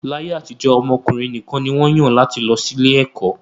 Láyé àtijọ́, ọmọ ọkùnrin nìkan ni wọ́n yàn láti lọ sí ilé ẹ̀kọ́